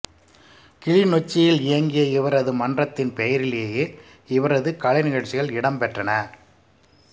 கிளிநொச்சியில் இயங்கிய இவரது மன்றத்தின் பெயரிலேயே இவரது கலைநிகழ்ச்சிகள் இடம்பெற்றன